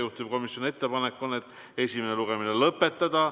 Juhtivkomisjoni ettepanek on esimene lugemine lõpetada.